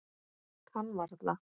Kann varla.